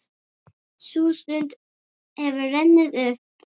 Sú stund hefur runnið upp.